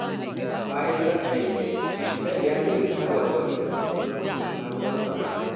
Bayan rasa aikin, Bilal ya nemi shawarwari daga ƙwararru kan sabuwar sana’a.